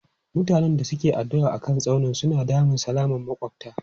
Mutanen da ke addu'a a kan tsaunin suna damun salaman makwabta.